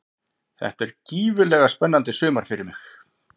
Þetta er gífurlega spennandi sumar fyrir mig.